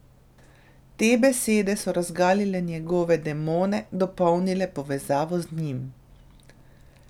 Te besede so razgalile njegove demone, dopolnile povezavo z njim.